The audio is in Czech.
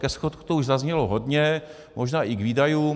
Ke schodku toho už zaznělo hodně, možná i k výdajům.